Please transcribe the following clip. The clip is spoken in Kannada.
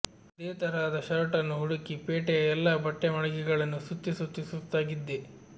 ಅದೇ ತರಹದ ಶರ್ಟನ್ನು ಹುಡುಕಿ ಪೇಟೆಯ ಎಲ್ಲ ಬಟ್ಟೆ ಮಳಿಗೆಗಳನ್ನು ಸುತ್ತಿ ಸುತ್ತಿ ಸುಸ್ತಾಗಿದ್ದೆ